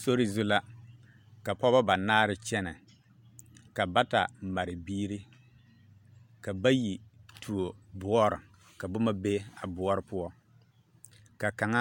Sori zu la ka pɔgba banaare kyɛne ka bata mare biiri ka bayi tuo boore ka boma be a boore poɔ ka kang